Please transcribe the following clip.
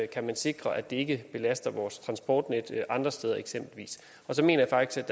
kan man sikre at det ikke belaster vores transportnet andre steder og så mener jeg faktisk